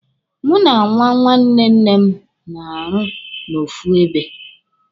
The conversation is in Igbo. Mụ na nwa nwanne nne m na-arụ n'ofu ebe.